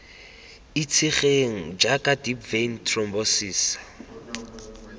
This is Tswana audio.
itsegeng jaaka deep vein thrombosis